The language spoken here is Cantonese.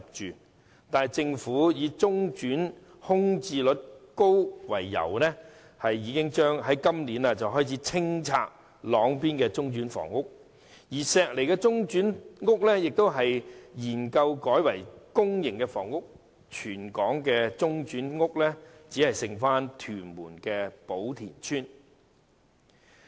然而，政府以中轉單位空置率高為由，於今年開始清拆朗邊的中轉屋邨，並正研究將石籬的中轉房屋改建為公營房屋，於是全港的中轉房屋便只餘下屯門的寶田邨。